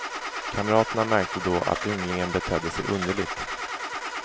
Kamraterna märkte då att ynglingen betedde sig underligt.